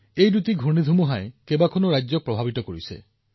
এই দুয়োটা ঘূৰ্ণীবতাহে কেইবাখনো ৰাজ্যক প্ৰভাৱিত কৰিছে